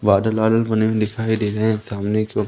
बादल वादल बने हुए दिखाई दे रहे हैं सामने की ओर--